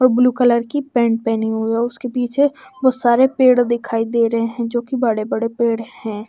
और blue colour की pant पहने हुए है उसके पीछे बहुत सारे पेड़ दिखाई दे रहे हैं जो कि बड़े बड़े पेड़ हैं।